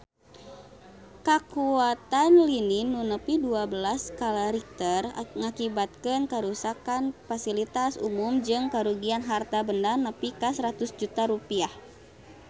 Kakuatan lini nu nepi dua belas skala Richter ngakibatkeun karuksakan pasilitas umum jeung karugian harta banda nepi ka 100 juta rupiah